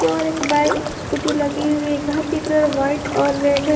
और एक बाइक एक स्कूटी लगी हुई है घर की कलर व्हाइट और रेड है।